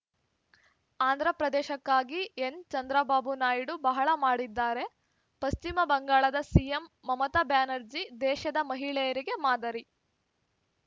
ಆಂಧ್ರಪ್ರದೇಶಕ್ಕಾಗಿ N Chandrababu Naidu ಬಹಳ ಮಾಡಿದ್ದಾರೆ ಪಶ್ಚಿಮ ಬಂಗಾಳದ ಸಿಎಂ ಮಮತಾ ಬ್ಯಾನರ್ಜಿ ದೇಶದ ಮಹಿಳೆಯರಿಗೆ ಮಾದರಿ